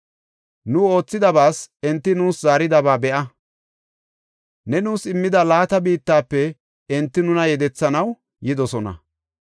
Nu oothidobas enti nuus zaaridaba be7a. Ne nuus immida laata biittafe enti nuna yedethanaw yidosona.